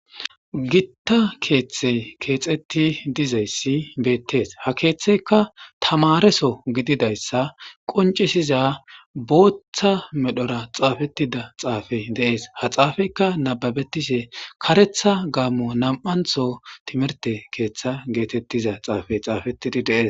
Gita kethey kexeti dizays betes, ha kethayka tamareso gididaysa qoncisiza bootha medhora xafetida xufey Des, ha xafeyka nababetishe karetha gamo 2tho detha timhrte ketha getetiza cafe xafetid Des.